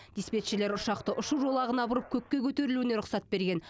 диспетчерлер ұшақты ұшу жолағына бұрып көкке көтерілуіне рұқсат берген